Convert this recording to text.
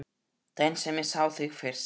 Daginn sem ég sá þig fyrst.